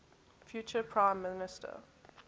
future prime minister